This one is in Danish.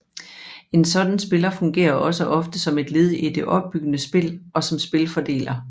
En sådan spiller fungerer også ofte som et led i det opbyggende spil og som spilfordeler